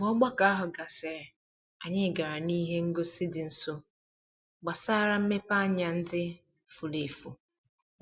Mgbe ogbako ahụ gasịrị, anyị gara n'ihe ngosi dị nso gbasara mmepeanya ndị furu efu.